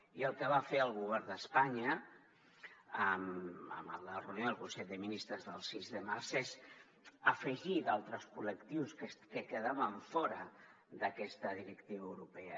i el que va fer el govern d’espanya en la reunió del consell de ministres del sis de març és afegir altres col·lectius que quedaven fora d’aquesta directiva europea